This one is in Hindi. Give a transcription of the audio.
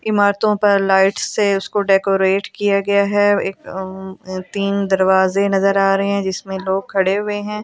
इमारतो पर लाइट से उसको डेकोरेट किया गया है एक अआ तीन दरवाजे नज़र आ रहे है जिसमे लोग खड़े हुए है ।